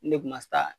Ne kun ma se aaa